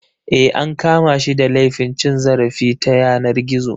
Eh an kama shi da laifin cin zarafi ta yanar gizo.